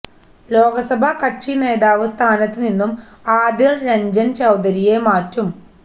ലോക്സഭാ കക്ഷി നേതാവ് സ്ഥാനത്ത് നിന്നും ആദിർ രഞ്ജൻ ചൌധരിയെ മാറ്റും